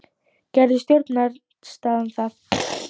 Gerði stjórnarandstaðan það?